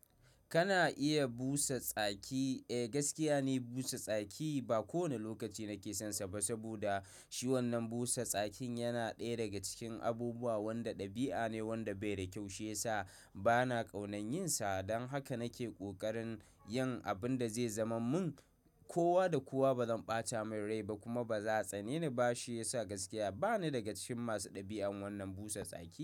Kana iya busa tsaki, eh gaskiya ne busa tsaki ba kowane lokaci nake son sa ba, saboda shi wannan busa tsakin yana ɗaya daga cikin abubuwan da ɗabi'a ne wanda bai da kyau shiyasa bana ƙaunar yin sa. Don haka nake ƙoƙarin yin abin da zai zaman mun, kowa da kowa bazan ɓata min rai ba kuma ba za a tsani ni ba shiyasa gaskiya bani daga cikin masu ɗabi'an wannan busa tsaki.